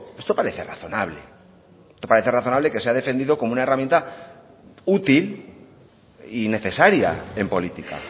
esto parece razonable parece razonable que se ha defendido como una herramienta útil y necesaria en política